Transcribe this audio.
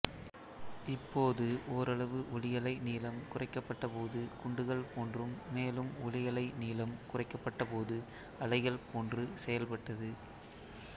இப்போது ஓரளவு ஒளியலை நீளம் குறைக்கப்பட்டபோது குண்டுகள் போன்றும் மேலும் ஒளியலை நீளம் குறைக்கப்பட்ட போது அலைகள் போன்று செயல்பட்டது